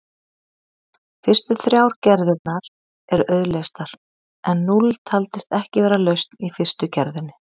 Fyrstu þrjár gerðirnar eru auðleystar en núll taldist ekki vera lausn í fyrstu gerðinni.